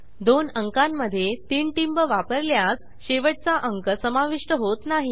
दोन अंकांमधे 3 टिंब वापरल्यास शेवटचा अंक समाविष्ट होत नाही